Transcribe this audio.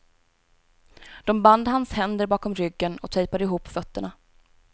De band hans händer bakom ryggen och tejpade ihop fötterna.